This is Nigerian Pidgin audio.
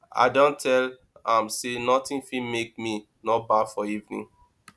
i don tell am sey notin fit make me no baff for evening